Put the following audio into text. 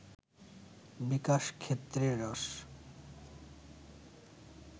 বিকাশ ক্ষেত্রেরস